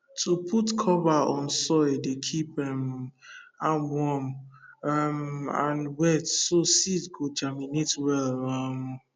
to put cover on soil dey keep um am warm um and wet so seed go germinate well um